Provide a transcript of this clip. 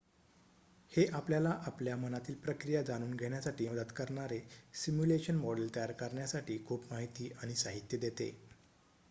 हे आपल्याला आपल्या मनातील प्रक्रिया जाणून घेण्यासाठी मदत करणारे सिम्युलेशन मॉडेल तयार करण्यासाठी खूप माहिती आणि साहित्य देते